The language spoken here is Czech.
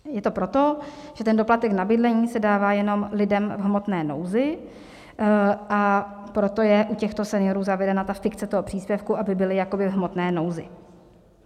Je to proto, že ten doplatek na bydlení se dává jenom lidem v hmotné nouzi, a proto je u těchto seniorů zavedena fikce toho příspěvku, aby byli jakoby v hmotné nouzi.